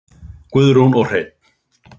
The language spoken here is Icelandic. Guðrún og Hreinn.